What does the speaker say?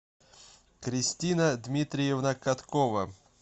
кристина дмитриевна коткова